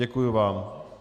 Děkuji vám.